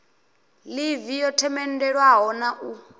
ḽivi yo themendelwaho na u